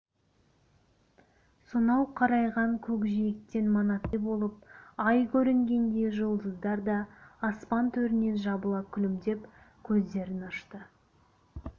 сонау қарайған көкжиектен манаттай болып ай көрінгенде жұлдыздар да аспан төрінен жабыла күлімдеп көздерін ашты